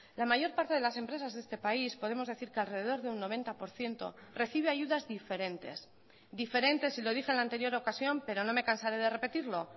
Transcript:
la mayor parte de las empresas de este país podemos decir que alrededor de un noventa por ciento recibe ayudas diferentes diferentes y lo dije en la anterior ocasión pero no me cansaré de repetirlo